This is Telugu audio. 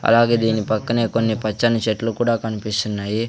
అలాగే దీని పక్కనే కొన్ని పచ్చని చెట్లు కూడా కన్పిస్తున్నాయి.